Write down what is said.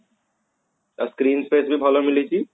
ଆଉ screen space ବି ଭଲ ମିଳିଛି